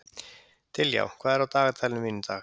Diljá, hvað er á dagatalinu mínu í dag?